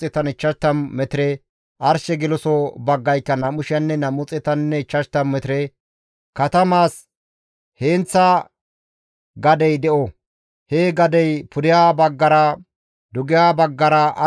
Katamaas heenththa gadey de7o; he gadey pudeha baggara, dugeha baggara, arshe kessaso baggaranne arshe geloso baggara 125 metire aaho gido.